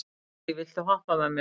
Betsý, viltu hoppa með mér?